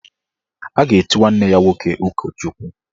A ga-echi nwanne ya nwoke ụkọchukwu.